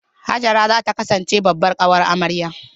Hajara za ta kasance babbar ƙawar amarya.